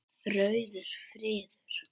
Rauður friður